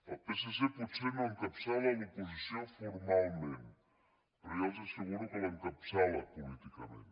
el psc potser no encapçala l’oposició formalment però ja els asseguro que l’encapçala políticament